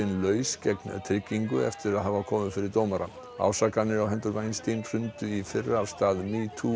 laus gegn tryggingu eftir að hafa komið fyrir dómara ásakanir á hendur hrundu í fyrra af stað